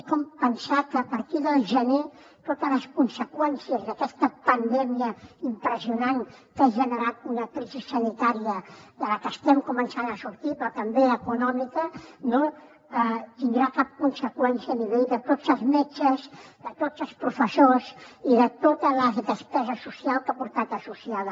és com pensar que a partir del gener totes les conseqüències d’aquesta pandèmia impressionant que ha generat una crisi sanitària de la que estem començant a sortir però també econòmica no tindrà cap conseqüència a nivell de tots els metges de tots els professors i de tota la despesa social que ha portat associada